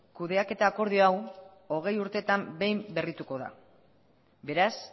kudeaketa akordio hau hogei urtetan behin berrituko da beraz